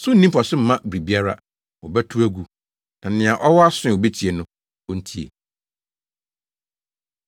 So nni mfaso mma biribiara. Wɔbɛtow agu. “Nea ɔwɔ aso a obetie no, ontie.”